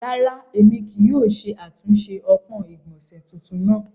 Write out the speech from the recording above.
Ràrà, emi kìí yóò ṣe atunṣe ọpọn igbọnse tuntun naa.